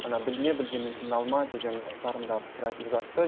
ана білме білгеннің тілін алма деген сарында пікір айтылып жатты